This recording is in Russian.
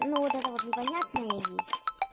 ну вот это вот непонятное есть